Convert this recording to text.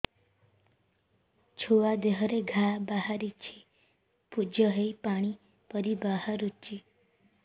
ଛୁଆ ଦେହରେ ଘା ବାହାରିଛି ପୁଜ ହେଇ ପାଣି ପରି ବାହାରୁଚି